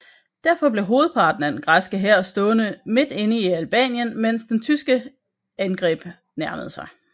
Derfor blev hovedparten af den græske hær stående dybt inde i Albanien mens det tyske angreb nærmede sig